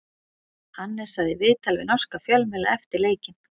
Hannes sagði í viðtali við norska fjölmiðla eftir leikinn: